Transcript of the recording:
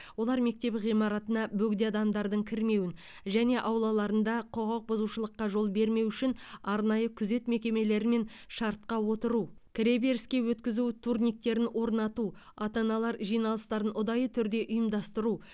олар мектеп ғимараттарына бөгде адамдардың кірмеуін және аулаларында құқық бұзушылыққа жол бермеу үшін арнайы күзет мекемелерімен шартқа отыру кіре беріске өткізу турниктерін орнату ата аналар жиналыстарын ұдайы түрде ұйымдастыру